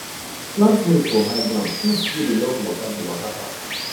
plant maize for high ground pests wey dey love water go waka pass